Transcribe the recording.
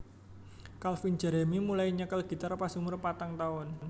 Calvin Jeremy mulai nyekel gitar pas umur patang taun